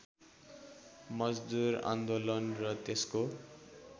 मजदुर आन्दोलन र त्यसको